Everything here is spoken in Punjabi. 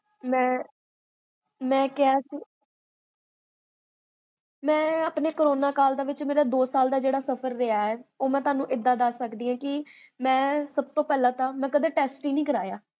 ਮੈ ਕੇਹਾ, ਮੈ ਆਪਣੇ ਕੋਰੋਨਾ ਵਿੱਚ ਮੇਰਾ ਜੇਹੜਾ ਦੋ ਸਾਲ ਦਾ ਸਫ਼ਰ ਰਿਹਾ ਹੈ, ਓਹ ਮੈ ਤੁਹਾਨੂ ਏਦਾਂ ਦਸ ਸਕਦੀ ਹਾਂ ਕੀ ਮੈਂ ਸਭ ਤੋ ਪਹਲਾ ਤਾ ਮੈ ਕਦੇ ਟੇਸਟ ਹੀ ਨੀ ਕਰਾਇਆ